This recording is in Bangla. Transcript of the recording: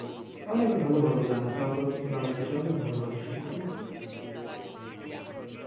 অনেক ভালো ভালো গান আছে আমাদের বাংলাদেশের অনেক ভালো ভালো শিল্পী আছে